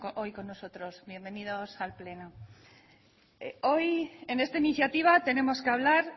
hoy con nosotros bienvenidos al pleno hoy en esta iniciativa tenemos que hablar